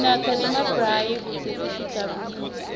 senta nemabrayi kute sitijabulise